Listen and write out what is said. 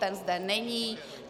Ten zde není.